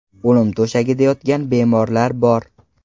O‘lim to‘shagida yotgan bemorlarim bor.